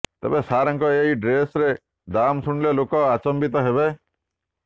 ତେବେ ସାରାଙ୍କ ଏହି ଡ୍ରେସ୍ର ଦାମ୍ ଶୁଣିଲେ ଲୋକେ ଆଚମ୍ବିତ ହେବେ